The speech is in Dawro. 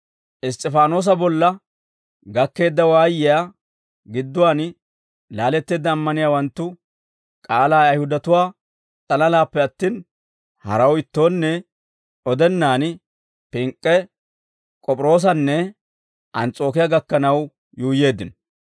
Iss's'ifaanoosa bolla gakkeedda waayiyaa geeduwaan laaletteedda ammaniyaawanttu k'aalaa Ayihudatuwaa s'alalaappe attin, haraw ittoonne odennaan, Pink'k'e, K'op'iroosanne Ans's'ookiyaa gakkanaw yuuyyeeddino.